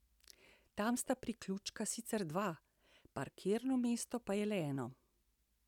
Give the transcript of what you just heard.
Tam sta priključka sicer dva, parkirno mesto pa je le eno.